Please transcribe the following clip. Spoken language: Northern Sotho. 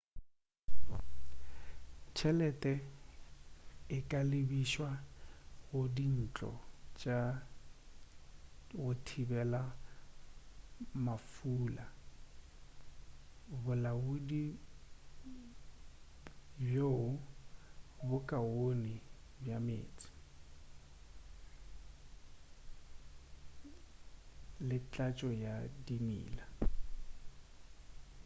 tšhelete e ka lebišwa go dintlo tša go thibelwa mafula bolaodi bjo bo kaone bja meetse le tlatšo ya dimila